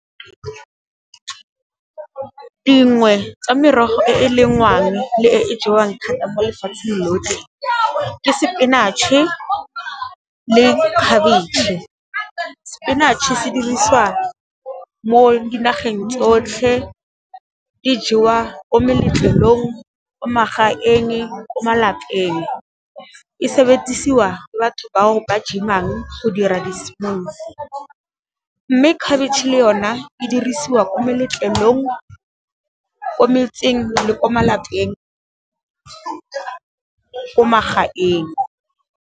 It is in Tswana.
Dingwe tsa merogo e e lengwang le e jewang thata mo lefatsheng lotlhe, ke sepinatšhe le khabetšhe. Sepinatšhe se dirisiwa mo dinageng tsotlhe di jewa ko meletlelong, ko magaeng, ko malapeng, e sebediswa batho ba ba gym-ang go dira di , mme khabetšhe le yone e dirisiwa ko meletlong ko metseng le ko malapeng, ko magaeng.